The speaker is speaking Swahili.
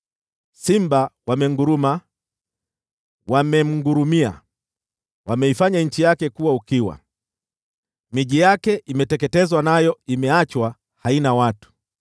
Simba wamenguruma; wamemngurumia. Wameifanya nchi yake kuwa ukiwa; miji yake imeteketezwa, nayo imeachwa haina watu.